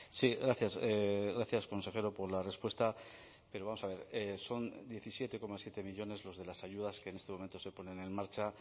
sí gracias gracias consejero por la respuesta pero vamos a ver son diecisiete coma siete millónes los de las ayudas que en este momento se ponen en marcha